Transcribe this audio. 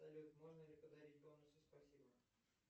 салют можно ли подарить бонусы спасибо